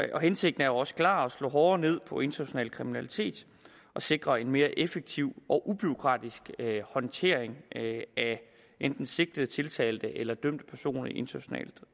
hensigten er også klar at slå hårdere ned på international kriminalitet og sikre en mere effektiv og ubureaukratisk håndtering af enten sigtede tiltalte eller dømte personer i internationalt